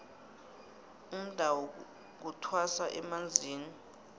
umdawu kuthwasa emanzini